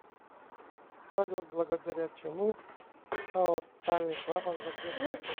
салют благодаря чему аортальный клапан закрыт